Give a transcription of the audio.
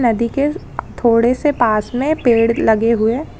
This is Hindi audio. नदी के थोड़े से पास में पेड़ लगे हुए।